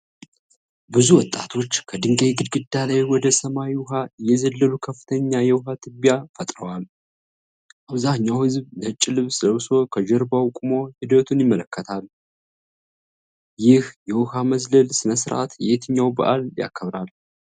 ብዙ ወጣቶች ከድንጋይ ግድግዳ ላይ ወደ ሰማያዊ ውሃ እየዘለሉ ከፍተኛ የውሃ ትቢያ ፈጥረዋል። አብዛኛው ህዝብ ነጭ ልብስ ለብሶ ከጀርባቸው ቆሞ ሂደቱን ይመለከታል። ይህ የውሃ መዝለል ሥነ ሥርዓት የትኛውን በዓል ያከብራል?